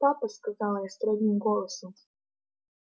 папа сказала строгим голосом